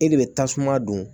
E de bɛ tasuma don